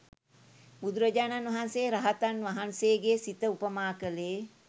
බුදුරජාණන් වහන්සේ රහතන් වහන්සේගේ සිත උපමා කළේ